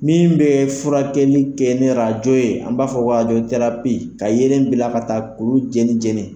Min bɛ furakɛli kɛ ni ye an b'a fɔ ka yelen bila ka taa kulu jeni jeni.